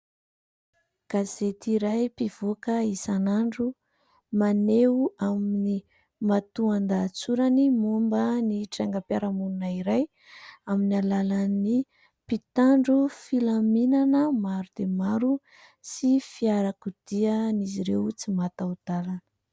Gazety iray mpivoaka isanandro maneho amin'ny matoan-dahatsorany momba ny trangam-piarahamonina iray amin'ny alalan'ny mpitandro filaminana maro dia maro sy fiarakodian'izy ireo tsy mataho-dalana.